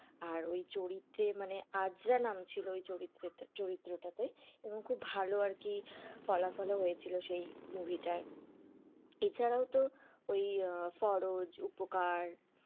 আর ওই চরিত্রে মানে আরজা নাম ছিল, ওই চরিত্রে~চরিত্র টাতে এবং খুব ভালো আর কি ফলাফল ও হয়েছিল, সেই movie টাই এছাড়াও তো ওই ফরজ, উপকার।